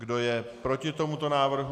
Kdo je proti tomuto návrhu?